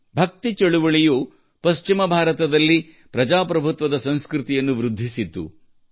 ಭಕ್ತಿ ಚಳುವಳಿಯು ಪಶ್ಚಿಮ ಭಾರತದಲ್ಲಿ ಪ್ರಜಾಪ್ರಭುತ್ವದ ಸಂಸ್ಕೃತಿಯನ್ನು ವೃದ್ಧಿಸಿತ್ತು